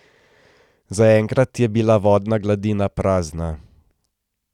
Zaenkrat je bila vodna gladina prazna.